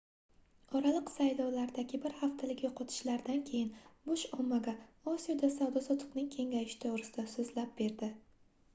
oraliq saylovlardagi bir haftalik yoʻqotishlardan keyin bush ommaga osiyoda savdo-sotiqning kengayishi toʻgʻrisida soʻzlab berdi